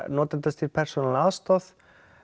notendastýrð persónuleg aðstoð